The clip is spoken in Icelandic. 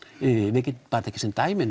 við getum tekið sem dæmi